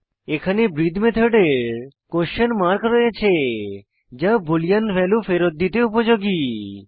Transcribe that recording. এখানে ব্রিথে মেথডের কোয়েসশন মার্ক রয়েছে যা বুলিন ভ্যালু ফেরৎ দিতে উপযোগী